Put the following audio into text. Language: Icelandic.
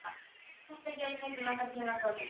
Þetta getur tekið langan tíma Þórhildur.